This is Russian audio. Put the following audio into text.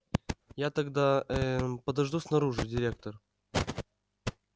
я тогда ээ мм подожду снаружи директор